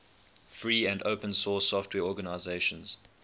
free and open source software organizations